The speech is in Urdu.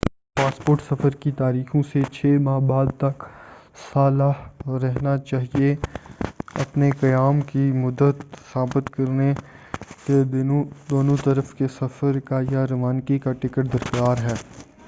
تمہارا پاسپورٹ سفر کی تاریخوں سے 6 ماہ بعد تک صالح رہنا چاہئے اپنے قیام کی مدت ثابت کرنے کے دونوں طرف کے سفر کا یا روانگی کا ٹکٹ درکار ہے